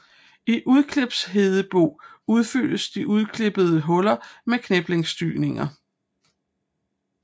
I udklipshedebo udfyldes de udklippede huller med kniplingssyning